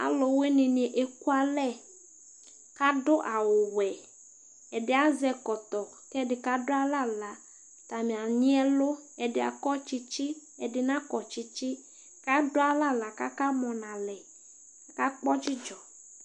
alowini ni eku alɛ k'ado awu wɛ ɛdi azɛ ɛkɔtɔ k'ɛdi kado alɛ ala atani anyi ɛlu ɛdi akɔ tsitsi ɛdi nakɔ tsitsi k'ado alɛ ala k'aka mɔ n'alɛ aka kpɔ dzidzɔ